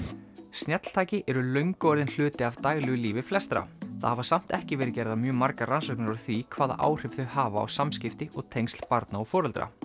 snjalltæki eru löngu orðin hluti af daglegu lífi flestra það hafa samt ekki verið gerðar mjög margar rannsóknir á því hvaða áhrif þau hafa á samskipti og tengsl barna og foreldra